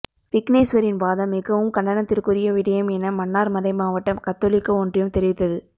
விக்னேஸ்வரின் வாதம் மிகவும் கண்டனத்திற்குரிய விடயம் என மன்னார் மறைமாவட்ட கத்தோலிக்க ஒன்றியம் தெரிவித்தது